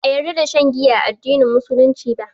Ba a ƴarda da shan giya a addinin musulunci ba.